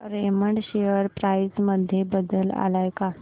Raymond share price मध्ये बदल आलाय का